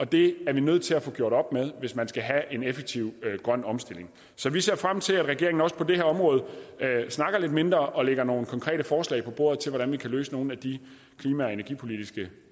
det er vi nødt til at få gjort op med hvis man skal have en effektiv grøn omstilling så vi ser frem til at regeringen også på det her område snakker lidt mindre og lægger nogle konkrete forslag på bordet til at løse nogle af de klima og energipolitiske